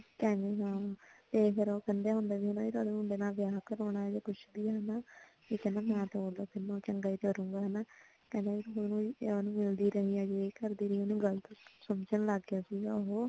ਹਮ ਹਮ ਫ਼ਿਰ ਉਹ ਕਹਿੰਦੇ ਹੁੰਦੇ ਆ ਵੀ ਜੇ ਸਾਡੇ ਮੁੰਡੇ ਨਾਲ ਵਿਆਹ ਕਰਵਾਉਣਾ ਜਾਂ ਕੁੱਝ ਵੀ ਆ ਹਨਾਂ ਕਿੰਨਾ ਚੰਗਾ ਕਹਿੰਦਾਂ ਤੂੰ ਉਹਨੂੰ ਮਿਲਦੀ ਰਹੀ ਆ ਯੇ ਕਰਦੀ ਰਹੀ ਆ ਉਹਨੂੰ ਗ਼ਲਤ ਸਮਝਣ ਲੱਗ ਗਿਆ ਸੀਗਾ ਉਹ